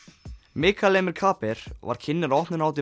Mikael Emil Kaaber var kynnir á opnunarhátíð